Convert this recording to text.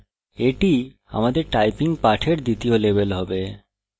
এটি আমাদের typing পাঠের দ্বিতীয় level হবে